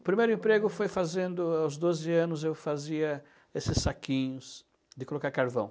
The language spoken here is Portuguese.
O primeiro emprego foi fazendo, aos doze anos, eu fazia esses saquinhos de colocar carvão.